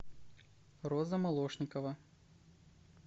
роза молошникова